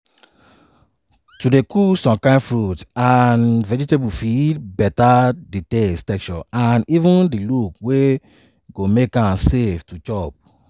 to dey cook some kain fruits and vegetable fit beta di taste texture and even di look wey go make am safe to chop